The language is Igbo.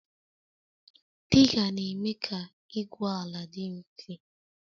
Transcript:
Diga na-eme ka igwu ala dị mfe